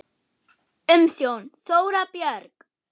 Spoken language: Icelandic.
Umsjón: Þóra Björg.